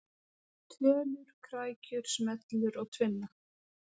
Tölur, krækjur, smellur og tvinna.